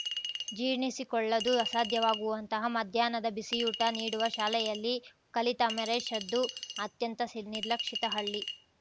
ಜೀರ್ಣಿಸಿಕೊಳ್ಳದು ಅಸಾಧ್ಯವಾಗುವಂತಹ ಮಧ್ಯಾಹ್ನದ ಬಿಸಿಯೂಟ ನೀಡುವ ಶಾಲೆಯಲ್ಲಿ ಕಲಿತ ಅಮರೇಶ್‌ರದ್ದು ಅತ್ಯಂತ ಸ್ ನಿರ್ಲಕ್ಷಿತ ಹಳ್ಳಿ